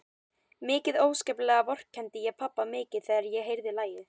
Mikið óskaplega vorkenndi ég pabba mikið þegar ég heyrði lagið.